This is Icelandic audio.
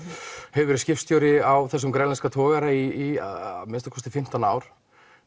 hefur verið skipstjóri á þessum grænlenska togara í að minnsta kosti fimmtán ár